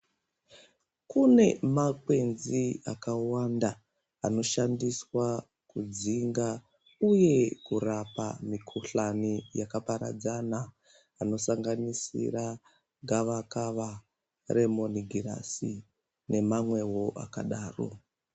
Kune makwenzi akawanda anoshandiswa kudzinga uye kurapa mukhuhlani yakaparadzana anosanganisira gavakava remonogirasi nemamwewo akadaro.